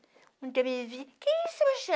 Quando eu me vi, quem é